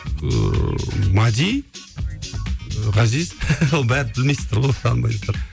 ыыы мәди ғазиз бәрібір білмейсіздер ғой танымайсыздар